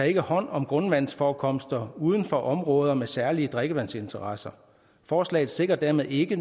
ikke hånd om grundvandsforekomster uden for områder med særlige drikkevandsinteresser forslaget sikrer dermed ikke